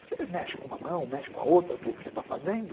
você mexe com uma mão, mexe com a outra, o que você está fazendo?